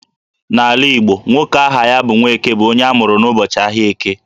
N'ala Igbo, nwoke aha ya bụ 'Nwaeke' bụ onye amụrụ n'ụbọchị ahịa Eke